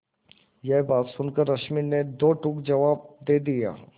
यह बात सुनकर रश्मि ने दो टूक जवाब दे दिया